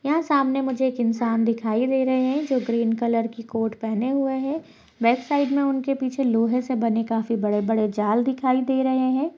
यहाँ सामने मुझे एक इन्सान दिखाई दे रहे हैं जो ग्रीन कलर की कोट पहने हुए है। बैकसाइड में उनके पीछे लोहे से बने काफी बड़े-बड़े जाल दिखाई दे रहे हैं।